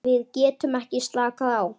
Við getum ekki slakað á.